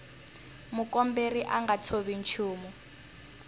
mukomberi a nga tshovi nchumu